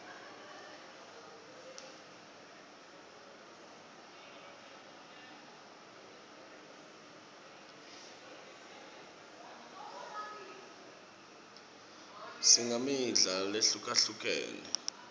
singmidla lehlukahlukene